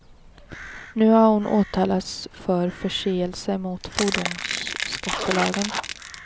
Nu har hon åtalats för förseelse mot fordonsskattelagen.